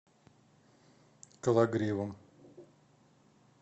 кологривом